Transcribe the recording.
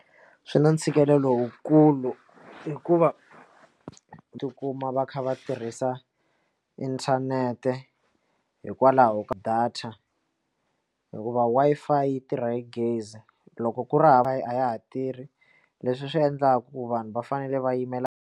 Swi na ntshikelelo lowukulu hikuva tikuma va kha va tirhisa inthanete hikwalaho ka data hikuva Wi-Fi yi tirha hi gezi loko ku ri hava a ya ha tirhi leswi swi endlaka ku vanhu va fanele va yimela.